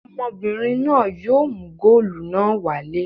Ọmọbìnrin náà yóò mú góólù náà wálé.